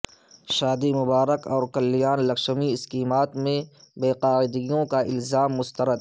شادی مبارک اور کلیان لکشمی اسکیمات میں بے قاعدگیوں کا الزام مسترد